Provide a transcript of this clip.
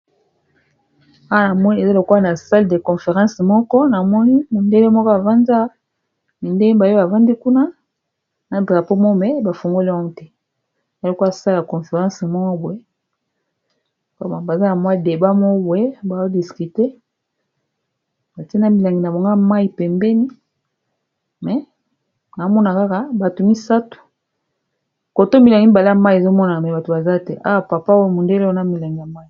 Awa namoni ezalokola na sale de conference moko namoni mondele moko avandi, mindele mibale oyo bavandi kuna na drapo mome bafungoli ango te elokwa sale ya conference mais boye baza na mwa deba. Mais boye baodiscute, batina milangi na bango ya mai pembeni, me na omona kaka bato misatu koto milangi mibale ya mai ezomonana me bato baza te awa papa oyo mondele wana milangi ya mai.